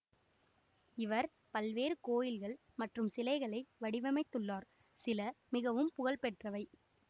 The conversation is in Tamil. இவர் பல்வேறு கோயில்கள் மற்றும் சிலைகளை வடிவமைத்துள்ளார் சில மிகவும் புகழ்பெற்றவை